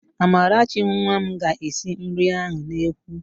Amarachi nwa m ga-esi nri ahụ n'ekwu